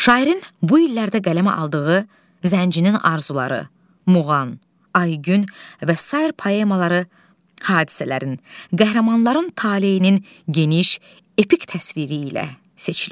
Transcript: Şairin bu illərdə qələmə aldığı Zəncinin arzuları, Muğan, Aygün və sair poemaları hadisələrin, qəhrəmanların taleyinin geniş, epik təsviri ilə seçilir.